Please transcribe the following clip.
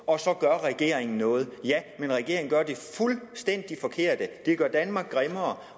og så gør regeringen noget ja men regeringen gør det fuldstændig forkerte det gør danmark grimmere